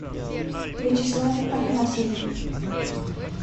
вячеславе афанасьеве